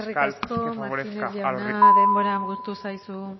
fiscal que favorezca a los ricos eskerrik asko martínez jauna denbora agortu zaizu